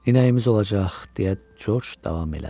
inəyimiz olacaq, deyə Corc davam elədi.